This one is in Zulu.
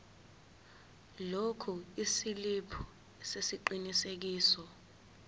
lokhu isiliphi sesiqinisekiso